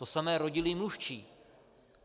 To samé rodilý mluvčí.